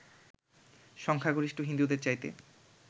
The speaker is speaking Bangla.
সংখ্যাগরিষ্ঠ হিন্দুদের চাইতে